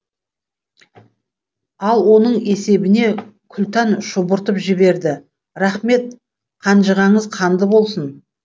ал оның есебіне күлтан шұбыртып жіберді рахмет қанжығаңыз қанды болсын